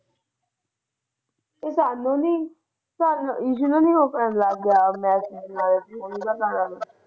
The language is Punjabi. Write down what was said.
ਉਹ ਤਾ ਆਉਂਦੇ ਨਹੀਂ ਇਸ਼ੂ ਨੂੰ ਨਹੀਂ ਹੋ ਸਕਦਾ ਯਾਦ।